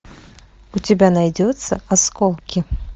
у тебя найдется осколки